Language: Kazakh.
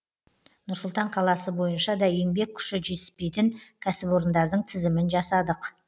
нұр сұлтан қаласы бойынша да еңбек күші жетіспейтін кәсіпорындардың тізімін жасадық